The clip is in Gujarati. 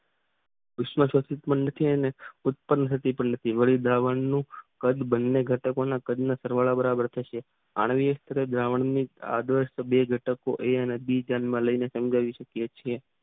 ઉષ્મ થતી પણ નથી ને ઉત્પન્ન થતી પણ નથી વળી દ્રાવણો નું કદ બંને ધટકોના કદના સરવાળા બરાબર થશે બે ઘટકો એ અને બી ધ્યાનમાં લઈને સમજાવી શકીયે છીએ.